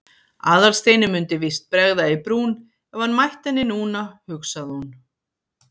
Aðalsteini mundi víst bregða í brún ef hann mætti henni núna, hugsaði hún.